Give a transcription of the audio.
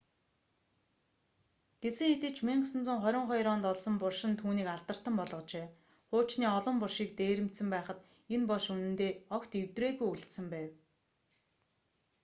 гэсэн хэдий ч 1922 онд олсон булш нь түүнийг алдартан болгожээ хуучны олон булшийг дээрэмдсэн байхад энэ булш үнэндээ огт эвдрээгүй үлдсэн байв